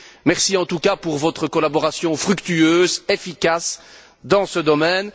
Merci en tout cas pour votre collaboration fructueuse, efficace, dans ce domaine.